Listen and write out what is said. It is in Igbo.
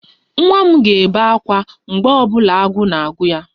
Nwa m ga-ebe ákwá mgbe ọ bụla agụụ na-agụ ya